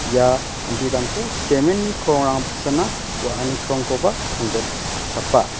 ia anti damko cement-ni krongrang baksaba wa·ani krongkoba songjotchapa.